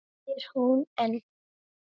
spyr hún enn.